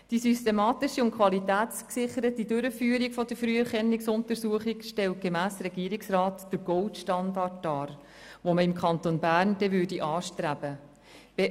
Die systematische und qualitätsgesicherte Durchführung der Früherkennungsuntersuchung stellt, gemäss Regierungsrat, den Gold-Standard dar, den man im Kanton Bern anstreben würde.